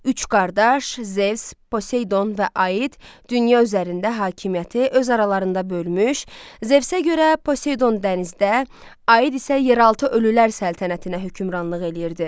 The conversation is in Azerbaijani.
Üç qardaş, Zevs, Poseydon və Aid dünya üzərində hakimiyyəti öz aralarında bölmüş, Zevsə görə Poseydon dənizdə, Aid isə yeraltı ölülər səltənətinə hökmranlıq eləyirdi.